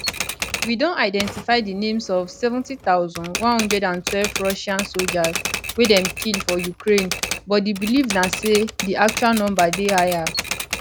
we don identify di names of 70112 russian soldiers wey dem kill for ukraine but di believe na say di actual number dey higher